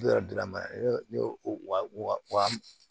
Yɔrɔ dilan ma wa